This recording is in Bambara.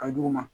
Ka duguma